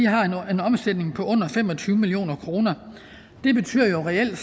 har en omsætning på under fem og tyve million kroner det betyder jo reelt at